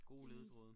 Gode ledetråde